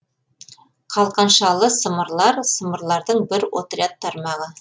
қалқаншалы сымырлар сымырлардың бір отряд тармағы